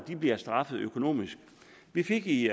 bliver straffet økonomisk vi fik i